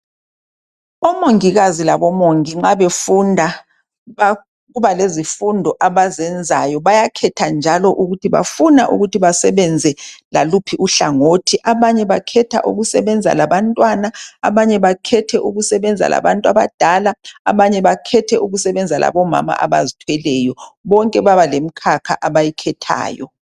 Omongikazi labomongi nxa befunda kuba lezifundo abazenzayo, bayakhetha njalo ukuthi bafuna ukuthi basebenze laluphi uhlangothi. Abanye bakhetha ukusebenza labantwana, abanye bakhethe ukusebenza labantu abadala, abanye bakhethe ukusebenza labomama abazithweleyo, bonke baba lemkhakha abayikhethayo.